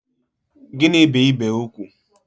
Gịnị bu ibé ugwu?